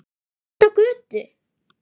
Út á götu.